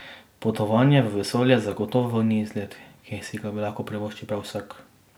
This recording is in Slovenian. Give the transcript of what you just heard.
Potovanje v vesolje zagotovo ni izlet, ki si ga lahko privoščil prav vsak.